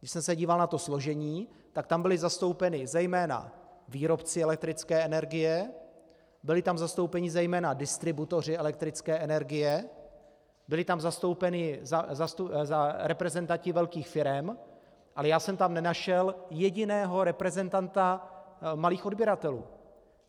Když jsem se díval na to složení, tak tam byli zastoupeni zejména výrobci elektrické energie, byli tam zastoupeni zejména distributoři elektrické energie, byli tam zastoupeni reprezentanti velkých firem, ale já jsem tam nenašel jediného reprezentanta malých odběratelů.